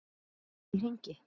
Fer ekki allt í hringi?